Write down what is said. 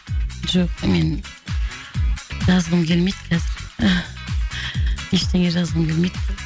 жоқ мен жазғым келмейді қазір ештеңе жазғым келмейді